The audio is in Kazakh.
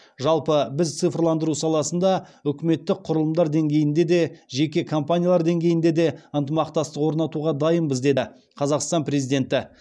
жалпы біз цифрландыру саласында үкіметтік құрылымдар деңгейінде де жеке компаниялар деңгейінде де ынтымақтастық орнатуға дайынбыз деді қазақстан президенті